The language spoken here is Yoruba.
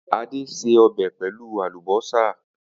Ade se ọbẹ pelu alubosa